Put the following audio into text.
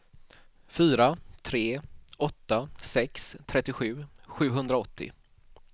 fyra tre åtta sex trettiosju sjuhundraåttio